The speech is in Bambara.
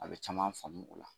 A bɛ caman faamu o la